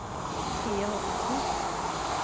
Sofie Håkonsen